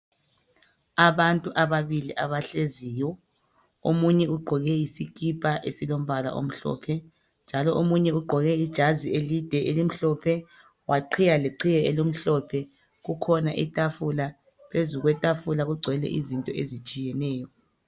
Abantu ababili abahleziyo omunye ugqoke isikipa esilombala omhlophe njalo omunye ugqoke ijazi elimhlophe waqhiya ngeqhiye elimhlophe kukhona itafula phezu kwetafula kugcwele izinto ezitshiyeneyo